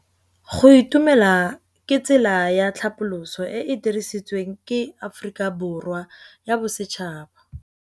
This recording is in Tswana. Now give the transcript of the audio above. Go itumela ke tsela ya tlhapolisô e e dirisitsweng ke Aforika Borwa ya Bosetšhaba.